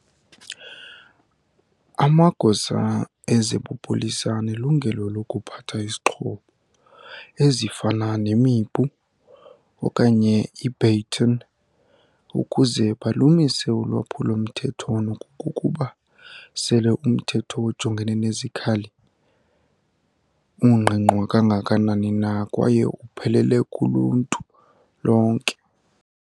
Amagosa ezebupolisa anelungelo lokuphatha izixhobo, ezifana nemipu okanye i-baton ukuze balumise ulwaphulo mthetho nokokuba sele umthetho ojongene nezikhali ungqingqwa kangakanani na kwaye uphelele kuluntu lonke.